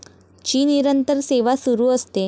ची निरंतर सेवा सुरु असते.